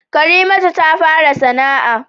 Karimatu ta fara sana'a